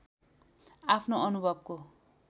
आफ्नो अनुभवको